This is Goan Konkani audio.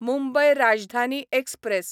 मुंबय राजधानी एक्सप्रॅस